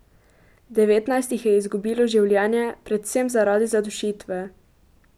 Devetnajst jih je izgubilo življenje, predvsem zaradi zadušitve.